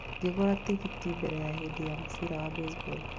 Ngĩgũra tigiti mbere ya hĩndĩ ya mũbira wa baseball